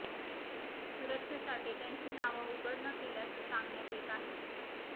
सुरक्षेसाठी त्यांची नावं उघड न केल्याचं सांगण्यात येत आहेत